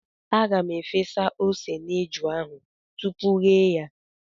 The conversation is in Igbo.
Aga m efe ose n'eju ahụ tupu ghee ya.